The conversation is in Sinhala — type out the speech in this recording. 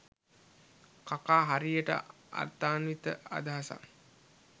කාකා හරියට අර්ථාන්විත අදහසක්